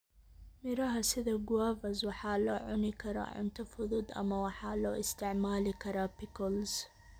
Miraha sida guavas waxaa loo cuni karaa cunto fudud ama waxaa loo isticmaali karaa pickles.